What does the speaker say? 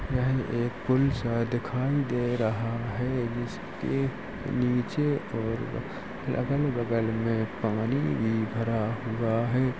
यह एक पूल सा दिखाई दे रहा है जिसके नीचे और अगल बगल में पानी बिखरा हुआ है।